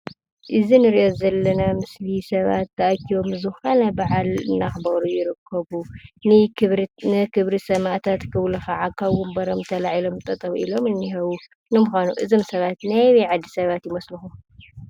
እዚ እንሪኦ ዘለና ምስሊ ሰባት ተኣኪቦም ዝኮነ ብዓል እናክበሩ ይርከቡ። ንክብሪ ሰማእታት ክብሉ ከዓ ካብ ወንበሮም ተላዒሎም ጠጠው ኢሎም እኒሂዉ ።ንምካኑ እዞም ሰባት ናይ ኣበይ ዓዲ ሰባት ይመስልኩም?